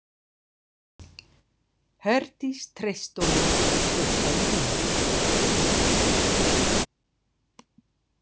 Herdís treysti honum, hugsaði hún.